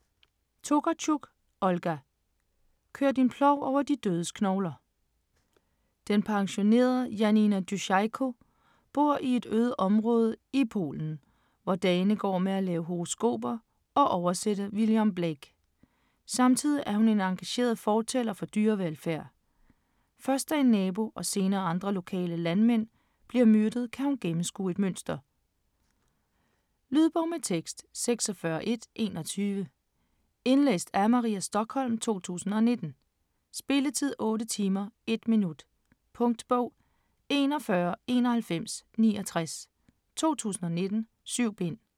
Tokarczuk, Olga: Kør din plov over de dødes knogler Den pensionerede Janina Duszejko bor i et øde område i Polen, hvor dagene går med at lave horoskoper og oversætte William Blake. Samtidig er hun en engageret fortaler for dyrevelfærd. Da først en nabo og senere andre lokale mænd bliver myrdet kan hun gennemskue et mønster. Lydbog med tekst 46121 Indlæst af Maria Stokholm, 2019. Spilletid: 8 timer, 1 minut. Punktbog 419169 2019. 7 bind.